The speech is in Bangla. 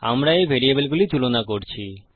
আমরা এই ভেরিয়েবলগুলি তুলনা করছি